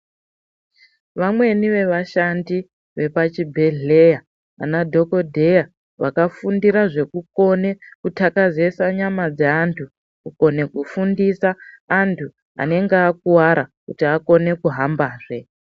Vamweni ve vashandi vepa chibhedhleya vana dhokodheya vaka fundira zveku kone kutakazesa nyama dze antu kukone kufundisa antu anenge akuvara kuti akone kuhamba zve.